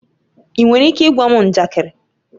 Ị nwere ike ịgwa m njakịrị?